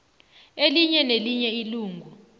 elinye nelinye ilungu